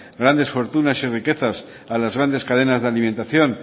grandes fortunas y riquezas a las grandes cadenas de alimentación